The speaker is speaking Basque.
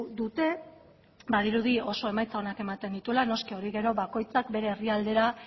dute badirudi oso emaitza onak ematen dituela noski hori gero bakoitzak bere herrialdera